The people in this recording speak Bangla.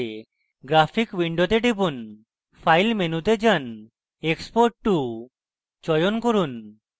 graphic window graphic window টিপুন file মেনুতে file menu যান export to export to চয়ন করুন